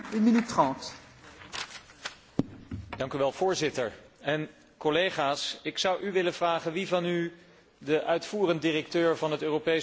Voorzitter, collega's, ik zou u willen vragen wie van u de uitvoerend directeur van het Europees Milieuagentschap, professor McGlade, persoonlijk kent?